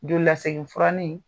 Jolilasegin furani.